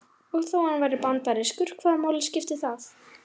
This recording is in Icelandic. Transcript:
Og þó hann væri bandarískur, hvaða máli skipti það?